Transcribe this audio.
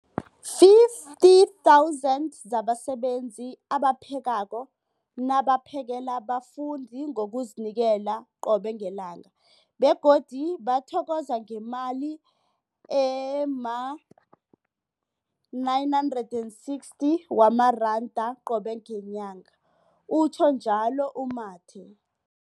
50 000 zabasebenzi abaphekako nabaphakela abafundi ngokuzinikela qobe ngelanga, begodu bathokozwa ngemali ema-960 wamaranda qobe ngenyanga, utjhwe njalo u-Mathe.